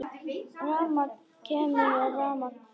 Rafmagn kemur og rafmagn fer.